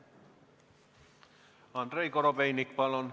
Andrei Korobeinik, palun!